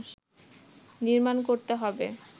নির্মাণ করতে হবে